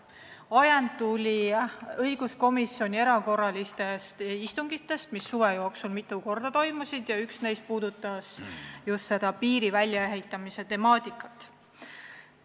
Ajend tekkis õiguskomisjoni erakorralistel istungitel, mis suve jooksul mitu korda toimusid ja millest üks puudutas just piiri väljaehitamise temaatikat.